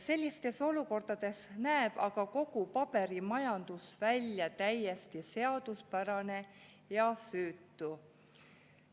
Sellistes olukordades näeb aga kogu paberimajandus välja täiesti seaduspärane ja süütu.